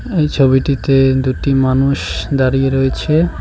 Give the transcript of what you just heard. এই ছবিটিতে দুটি মানুষ দাঁড়িয়ে রয়েছে।